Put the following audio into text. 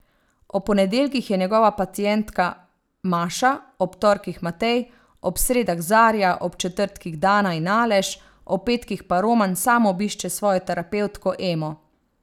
Ob ponedeljkih je njegova pacientka Maša, ob torkih Matej, ob sredah Zarja, ob četrtkih Dana in Aleš, ob petkih pa Roman sam obišče svojo terapevtko Emo.